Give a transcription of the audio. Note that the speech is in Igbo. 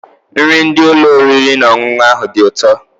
Nri ndị ụlọ oriri na ọṅụṅụ ahụ dị ụtọ.